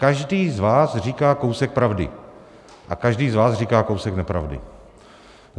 Každý z vás říká kousek pravdy a každý z vás říká kousek nepravdy.